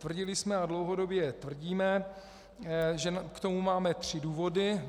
Tvrdili jsme a dlouhodobě tvrdíme, že k tomu máme tři důvody.